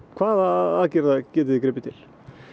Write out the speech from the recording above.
hvaða aðgerða getið þið gripið til